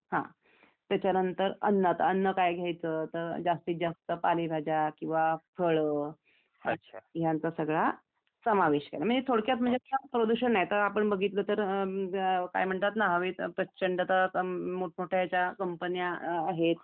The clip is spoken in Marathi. त्याच्यानंतर अन्न तर आता अन्न काय घ्यायच तर जास्तीत जास्त पालेभाज्या किंवा फळं यांचा सगळं समावेश आहे म्हणजे थोडक्यात म्हणजे असा प्रदूषण नाही त आपण बघितलं तर काय म्हणतात ना हवेत प्रचंड मोठमोठ्या ज्या कंपन्या आहेत